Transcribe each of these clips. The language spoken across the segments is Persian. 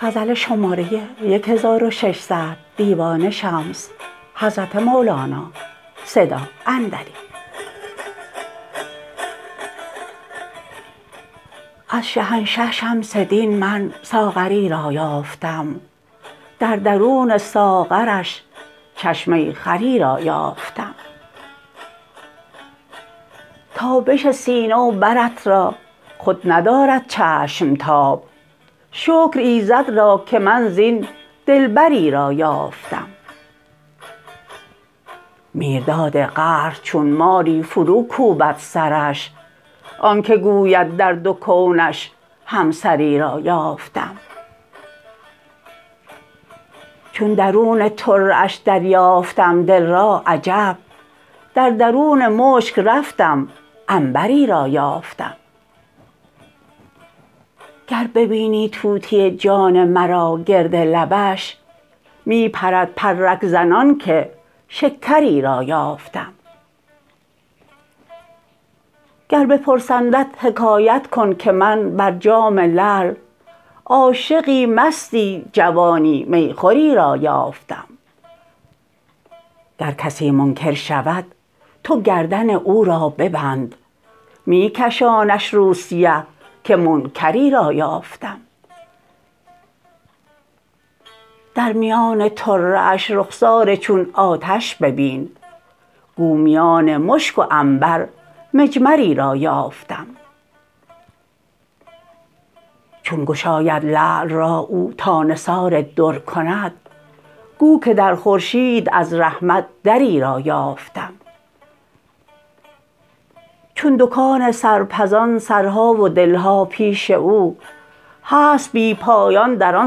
از شهنشه شمس دین من ساغری را یافتم در درون ساغرش چشمه خوری را یافتم تابش سینه و برت را خود ندارد چشم تاب شکر ایزد را که من زین دلبری را یافتم میرداد قهر چون ماری فروکوبد سرش آنک گوید در دو کونش هم سری را یافتم چون درون طره اش دریافتم دل را عجب در درون مشک رفتم عنبری را یافتم گر ببینی طوطی جان مرا گرد لبش می پرد پرک زنان که شکری را یافتم گر بپرسندت حکایت کن که من بر جام لعل عاشقی مستی جوانی می خوری را یافتم گر کسی منکر شود تو گردن او را ببند می کشانش روسیه که منکری را یافتم در میان طره اش رخسار چون آتش ببین گو میان مشک و عنبر مجمری را یافتم چون گشاید لعل را او تا نثار در کند گو که در خورشید از رحمت دری را یافتم چون دکان سرپزان سرها و دل ها پیش او هست بی پایان در آن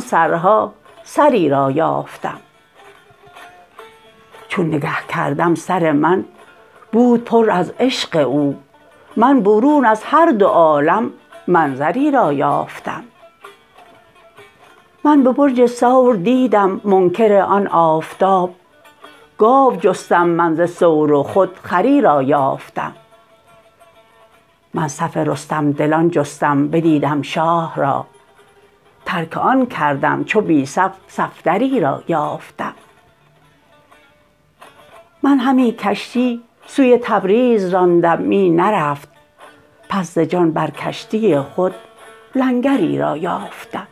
سرها سری را یافتم چون نگه کردم سر من بود پر از عشق او من برون از هر دو عالم منظری را یافتم من به برج ثور دیدم منکر آن آفتاب گاو جستم من ز ثور و خود خری را یافتم من صف رستم دلان جستم بدیدم شاه را ترک آن کردم چو بی صف صفدری را یافتم من همی کشتی سوی تبریز راندم می نرفت پس ز جان بر کشتی خود لنگری را یافتم